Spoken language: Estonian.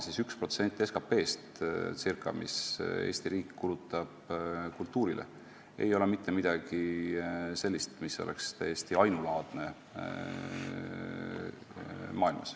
Circa 1% SKP-st, mida Eesti riik kulutab kultuurile, ei ole mitte midagi sellist, mis oleks maailmas ainulaadne.